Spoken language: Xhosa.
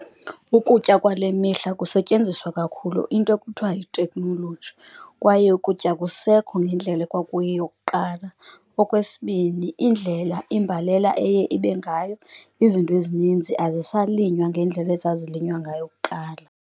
Ukutya kwale mihla kusetyenziswa kakhulu into ekuthiwa yiteknoloji, kwaye ukutya akusekho ngendlela ekwakuyiyo kuqala. Okwesibini, indlela imbalela eye ibe ngayo izinto ezininzi azisalinywa ngendlela ezazilinywa ngayo kuqala.